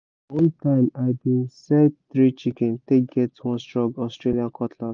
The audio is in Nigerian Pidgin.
one time i been sell three chicken take get one strong austrian cutlass